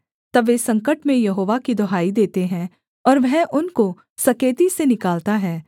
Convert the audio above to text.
तब वे संकट में यहोवा की दुहाई देते हैं और वह उनको सकेती से निकालता है